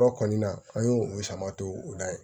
Yɔrɔ kɔni na an y'o o sama to u la yen